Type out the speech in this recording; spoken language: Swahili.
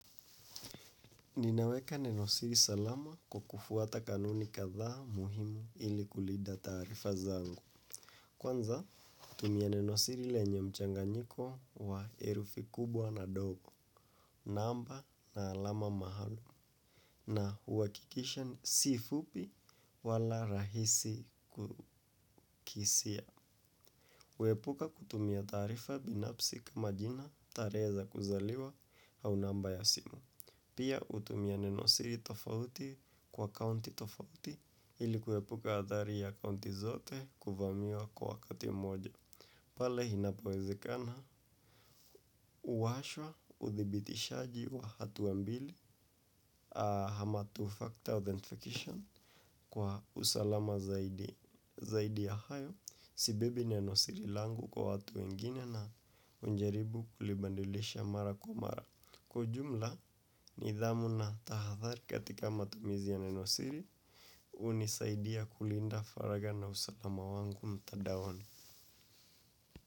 Ninaweka nenosiri salama kwa kufuata kanuni kadhaa muhimu ili kulinda taarifa zangu. Kwanza, natumia nenosiri lenye mchanganyiko wa herufi kubwa na ndogo, namba na alama mahali, na huhakikisha si fupi wala rahisi kukisia. Huepuka kutumia taarifa binafsi kama jina tarehe za kuzaliwa au namba ya simu. Pia hutumia neno siri tofauti kwa akaunti tofauti ili kuepuka athari ya akaunti zote kuvamiwa kwa wakati mmoja. Pale inapowezekana, huwashwa uthibitishaji wa hatua mbili ama two factor authentication kwa usalama zaidi, zaidi ya hayo. Sibebi neno siri langu kwa watu wengine na hujaribu kulibadilisha mara kwa mara. Kwa ujumla, nidhamu na tahadhari katika matumizi ya neno siri, hunisaidia kulinda faraga na usalama wangu mtadaoni.